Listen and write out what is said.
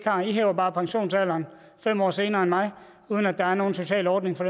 har i hæver bare pensionsalderen fem år senere end mig uden at der er nogen social ordning for